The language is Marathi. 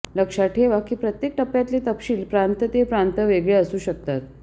लक्षात ठेवा की प्रत्येक टप्प्यातचे तपशील प्रांत ते प्रांत वेगळे असू शकतात